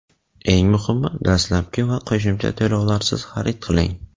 eng muhimi — dastlabki va qo‘shimcha to‘lovlarsiz xarid qiling!.